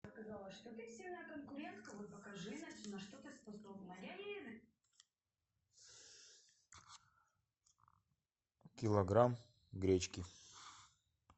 килограмм гречки